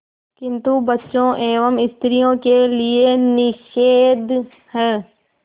किंतु बच्चों एवं स्त्रियों के लिए निषेध है